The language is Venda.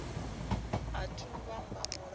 athu u vha na luambo